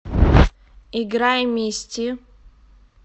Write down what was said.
играй мисти